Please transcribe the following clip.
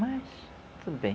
Mas, tudo bem.